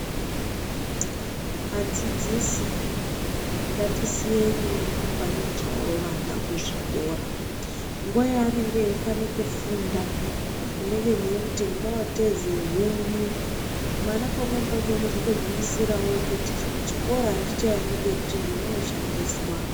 Adzidzisi ngatisiye nyaya yekupanichawo vana kuzvikora. Nguwa yaanenge eifanire kufunda munenge mweimuti ende woteze huni. Mwana pamweni pacho unozotogumisira wototi kuchikora handichaendi ngekuti ndinooshandiswa.